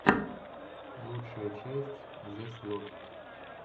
лучшая часть зэслот